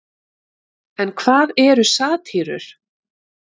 En hvað eru satírur?